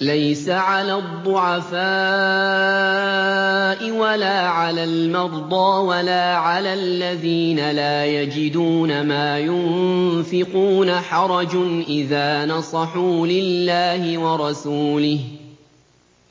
لَّيْسَ عَلَى الضُّعَفَاءِ وَلَا عَلَى الْمَرْضَىٰ وَلَا عَلَى الَّذِينَ لَا يَجِدُونَ مَا يُنفِقُونَ حَرَجٌ إِذَا نَصَحُوا لِلَّهِ وَرَسُولِهِ ۚ